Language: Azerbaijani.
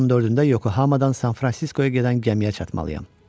Ayın 14-də Yokohamadan San Fransiskoya gedən gəmiyə çatmalıyam.